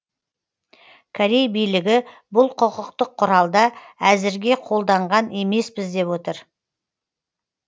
корей билігі бұл құқықтық құралда әзірге қолданған емеспіз деп отыр